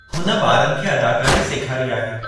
हुन ॿारनि खे अदाकारी सेखारी आहे।